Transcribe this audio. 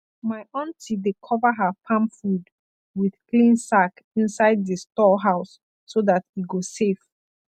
my aunty dey cover her farm food with clean sack inside di store house so that e go safe